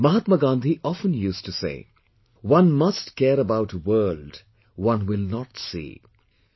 Mahatma Gandhi often used to say, "One must care about a world one will not see"